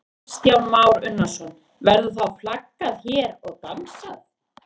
Kristján Már Unnarsson: Verður þá flaggað hér og dansað?